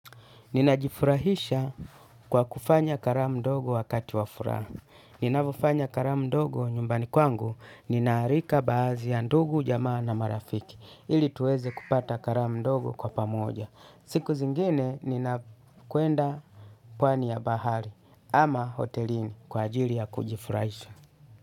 Ninajifurahisha kwa kufanya karamu ndogo wakati wa furaha. Ninapofanya karamu ndogo nyumbani kwangu nina alika baadhi ya ndugu, jamaa na marafiki. Ili tuweze kupata karamu ndogo kwa pamoja. Siku zingine ninakwenda pwani ya bahari ama hotelini kwa ajili ya kujifurahisha.